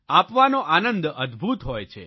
આપવાનો આનંદ અદભૂત હોય છે